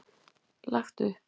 Lagt upp.